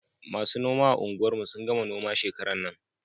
Masu noma a unguwar mu sun gama noma shekaran nan